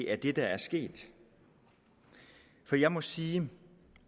er det der er sket for jeg må sige